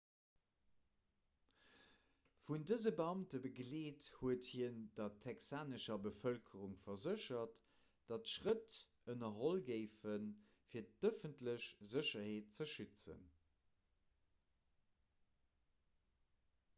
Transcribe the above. vun dëse beamte begleet huet hien der texanescher bevëlkerung verséchert datt schrëtt ënnerholl géifen fir d'ëffentlech sécherheet ze schützen